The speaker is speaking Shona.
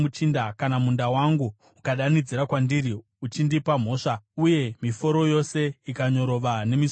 “Kana munda wangu ukadanidzira kwandiri uchindipa mhosva, uye miforo yose ikanyorova nemisodzi,